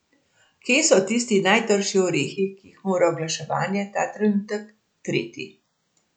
Kje so tisti najtrši orehi, ki jih mora oglaševanje ta trenutek treti?